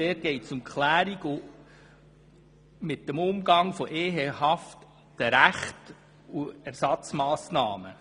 Dort geht es um die Klärung des Umgangs mit ehehaften Rechten und Ersatzmassnahmen.